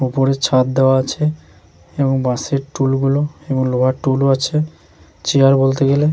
উপরে ছাদ দেওয়া আছে এবং বাঁশের টুল গুলো এবং লোহার টুল ও আছে চেয়ার বলতে গেলে --